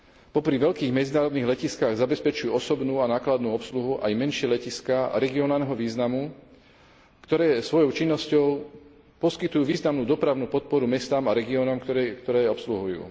Popri veľkých medzinárodných letiskách zabezpečujú osobnú a nákladnú obsluhu aj menšie letiská regionálneho významu, ktoré svojou činnosťou poskytujú významnú dopravnú podporu mestám a regiónom, ktoré obsluhujú.